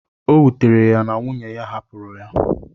O wutere ya na nwunye hapụrụ ya.